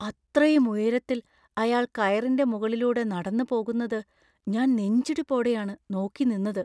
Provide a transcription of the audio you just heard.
അത്രയും ഉയരത്തിൽ അയാൾ കയറിൻ്റെ മുകളിലൂടെ നടന്നുപോകുന്നത് ഞാൻ നെഞ്ചിടിപ്പോടെയാണ് നോക്കി നിന്നത്.